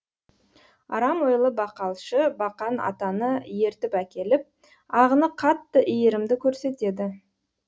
арам ойлы бақалшы бақан атаны ертіп әкеліп ағыны қатты иірімді көрсетеді